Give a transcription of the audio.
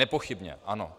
Nepochybně ano.